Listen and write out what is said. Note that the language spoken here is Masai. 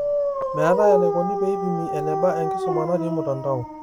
Meetae enaikoni peeipimi eneba enkisuma natii mtandao